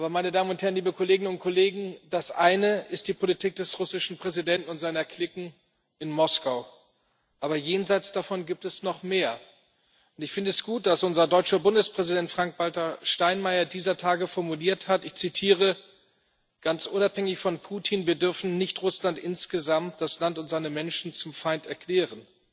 Meine Damen und Herren, liebe Kolleginnen und Kollegen, das eine ist die Politik des russischen Präsidenten und seiner Cliquen in Moskau, aber jenseits davon gibt es noch mehr, und ich finde es gut, dass unser deutscher Bundespräsident Frank-Walter Steinmeier dieser Tage formuliert hat Ganz unabhängig von Putin wir dürfen nicht Russland insgesamt, das Land und seine Menschen, zum Feind erklären.